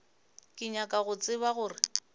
ke nyaka go tseba gore